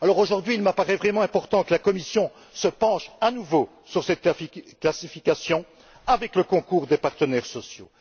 Aujourd'hui, il m'apparait vraiment important que la Commission se penche à nouveau sur cette classification, avec le concours des partenaires sociaux.